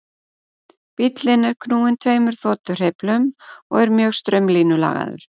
Bíllinn er knúinn tveimur þotuhreyflum og er mjög straumlínulagaður.